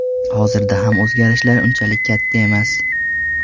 Hozirda ham o‘zgarishlar unchalik katta emas.